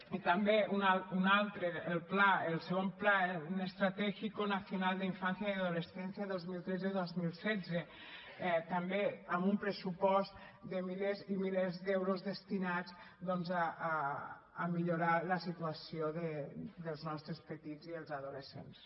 i també una altra el ii plan estratégico nacional de infancia y adolescencia dos mil tretzedos mil setze també amb un pressupost de milers i milers d’euros destinats doncs a millorar la situació dels nostres petits i els adolescents